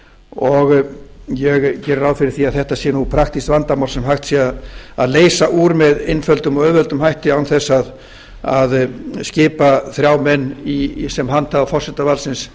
og ég geri ráð fyrir að þetta sé praktískt vandamál sem hægt sé að leysa úr með einföldum og auðveldum hætti án þess að skipa frá menn sem handhafa forsetavaldsins